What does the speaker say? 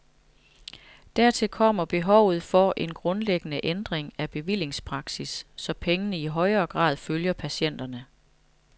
Dertil kommer behovet for en grundlæggende ændring af bevillingspraksis, så pengene i højere grad følger patienterne.